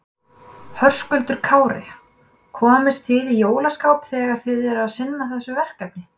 Höskuldur Kári: Komist þið í jólaskap þegar þið eruð að sinna þessu verkefni?